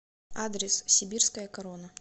адрес сибирская корона